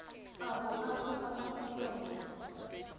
a boagi ba aforika borwa